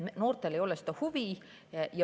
Noortel ei ole seda huvi.